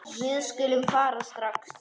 Við skulum fara strax.